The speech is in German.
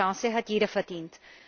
Und diese Chance hat jeder verdient!